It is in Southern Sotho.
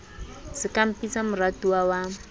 se ka mpitsa moratuwa wa